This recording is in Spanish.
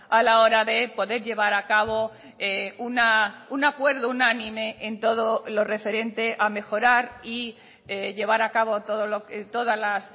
a la hora de poder llevar a cabo un acuerdo unánime en todo lo referente a mejorar y llevar a cabo todas las